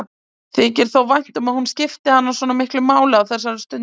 Þykir þó vænt um að hún skipti hann svona miklu máli á þessari stundu.